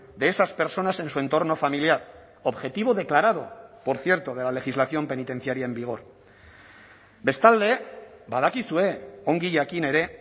de esas personas en su entorno familiar objetivo declarado por cierto de la legislación penitenciaria en vigor bestalde badakizue ongi jakin ere